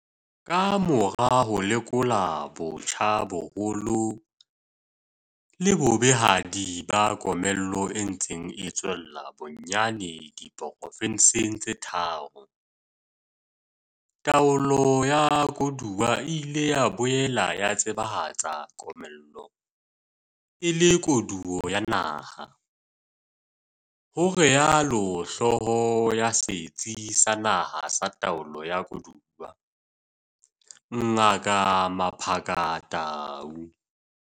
"Ka mora ho lekola botjha boholo le bobehadi ba komello e ntseng e tswella bonyane di porofenseng tse tharo, taolo ya koduwa e ile ya boela e tseba hatsa komello e le koduwo ya naha, ho rialo hlooho ya Setsi sa Naha sa Taolo ya Koduwa, Ngaka Mmaphaka Tau."